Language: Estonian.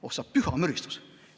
Oh sa püha müristus!